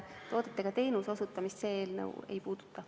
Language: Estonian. Toodetega teenuse osutamist see eelnõu ei puuduta.